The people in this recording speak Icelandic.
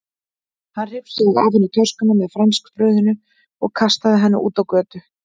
Hann hrifsaði af henni töskuna með franskbrauðinu og kastaði henni út á götu.